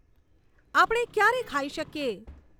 આપણે ક્યારે ખાઈ શકીએ